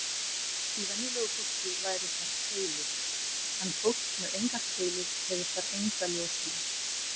Í venjulegu fólki væru þar keilur, en fólk með engar keilur hefur þar enga ljósnema.